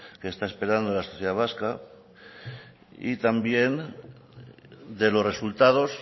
que está esperando la sociedad vasca y también de los resultados